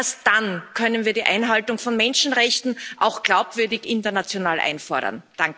Erst dann können wir die Einhaltung von Menschenrechten auch glaubwürdig international einfordern.